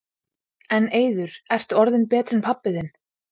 En Eiður, ertu orðinn betri en pabbi þinn?